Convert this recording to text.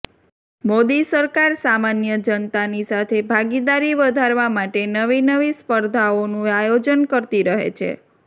મોદી સરકાર સામાન્ય જનતાની સાથે ભાગીદારી વધારવા માટે નવી નવી સ્પર્ધાઓનું આયોજન કરતી રહે છે